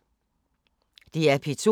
DR P2